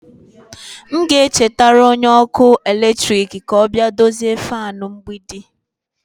M ga-echetara onye ọkụ eletrik ka ọ bịa dozie fan mgbidi.